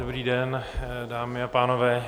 Dobrý den, dámy a pánové.